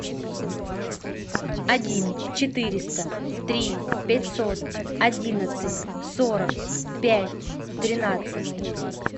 один четыреста три пятьсот одиннадцать сорок пять тринадцать